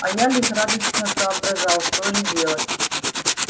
а я лихорадочно соображал что же делать